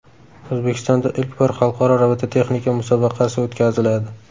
O‘zbekistonda ilk bor xalqaro robototexnika musobaqasi o‘tkaziladi.